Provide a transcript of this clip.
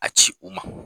A ci u ma